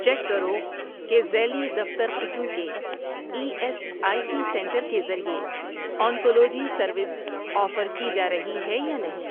check کرو کہ ذیلی دفتر قسم کے E S I C centre کے ذریعے آنکولوجی سروس آفر کی جارہی ہے یا نہیں